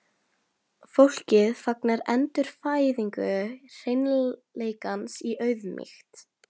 Fólkið fagnar endurfæðingu hreinleikans í auðmýkt.